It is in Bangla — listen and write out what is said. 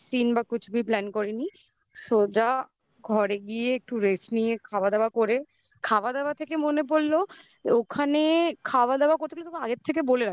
side seen বা lang:Hinकुछ भीlang:Hin plan করেনি সোজা ঘরে গিয়ে একটু rest নিয়ে খাওয়া দাওয়া করে মনে পড়লো ওখানে খাওয়া দাওয়া করতে